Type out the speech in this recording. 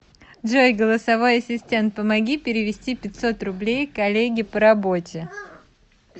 джой голосовой ассистент помоги перевести пятьсот рублей коллеге по работе